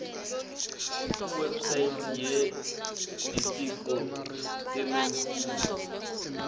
kuwebsite yelitiko letemfundvo